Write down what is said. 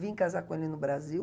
Vim casar com ele no Brasil.